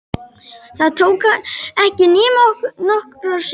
Það tók ekki nema nokkrar sekúndur.